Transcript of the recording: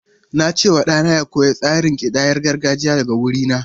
Na ce wa ɗana ya koyi tsarin kidayar gargajiya daga wurina.